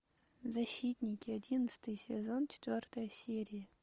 защитники одиннадцатый сезон четвертая серия